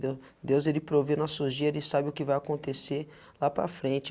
Deus, ele provê nossos dia ele sabe o que vai acontecer lá para frente.